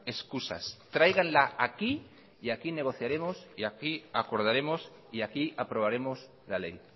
excusas tráiganla aquí y aquí negociaremos y aquí acordaremos y aquí aprobaremos la ley